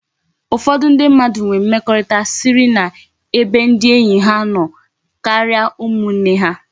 Ufodu ndi mmadu nwere mmekorita siri na ebe ndi enyi ha no karia umu nne ha